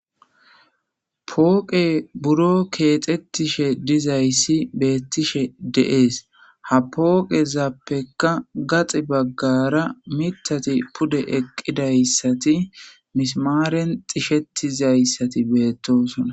pooqe buro keexettishe dizayssi beettishe dees. ha pooqezappeka gaxi baggara miiththati pude eqqidayssati misimaaren xishetizayssati beettosona.